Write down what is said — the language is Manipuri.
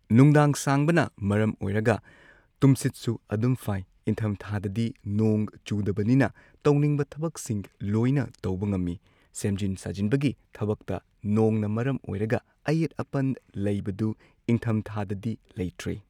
ꯅꯨꯡꯗꯥꯡ ꯁꯥꯡꯕꯅ ꯃꯔꯝ ꯑꯣꯏꯔꯒ ꯇꯨꯝꯁꯤꯠꯁꯨ ꯑꯗꯨꯝ ꯐꯥꯏ ꯏꯪꯊꯝꯊꯥꯗꯗꯤ ꯅꯣꯡ ꯆꯨꯗꯕꯅꯤꯅ ꯇꯧꯅꯤꯡꯕ ꯊꯕꯛꯁꯤꯡ ꯂꯣꯏꯅ ꯇꯧꯕ ꯉꯝꯃꯤ ꯁꯦꯝꯖꯤꯟ ꯁꯥꯖꯤꯟꯕꯒꯤ ꯊꯕꯛꯇ ꯅꯣꯡꯅ ꯃꯔꯝ ꯑꯣꯏꯔꯒ ꯑꯌꯦꯠ ꯑꯄꯟ ꯂꯩꯕꯗꯨ ꯏꯪꯊꯝ ꯊꯥꯗꯗꯤ ꯂꯩꯇ꯭ꯔꯦ